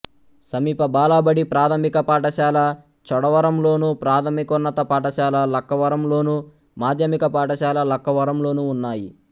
సమీప బాలబడి ప్రాథమిక పాఠశాల చోడవరంలోను ప్రాథమికోన్నత పాఠశాల లక్కవరంలోను మాధ్యమిక పాఠశాల లక్కవరంలోనూ ఉన్నాయి